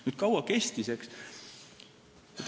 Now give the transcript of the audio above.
Nüüd, kaua kestis?